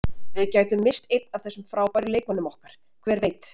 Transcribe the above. Við gætum misst einn af þessum frábæru leikmönnum okkar, hver veit?